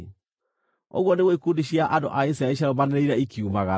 Ũguo nĩguo ikundi cia andũ a Isiraeli ciarũmanĩrĩire ikiumagara.